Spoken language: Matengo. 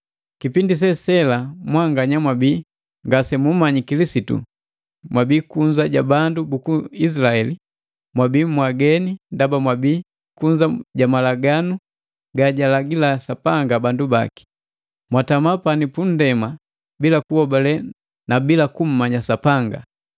Kipindi se sela mwanganya mwabii ngasemumanyi Kilisitu, mwabii kunza ja bandu buku Izilaeli, mwabii mwaageni ndaba mwabii kunza ja malaganu gajalagila Sapanga bandu baki. Mwatama pani punndema bila kuhobale na bila kummanya Sapanga.